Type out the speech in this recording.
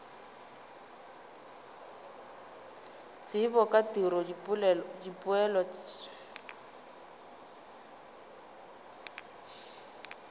tsebo ka tiro dipoelo tšeo